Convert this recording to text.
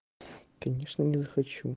конечно не захочу